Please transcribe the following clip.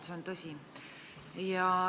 See on tõsi.